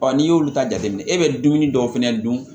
n'i y'olu ta jateminɛ e bɛ dumuni dɔw fɛnɛ dun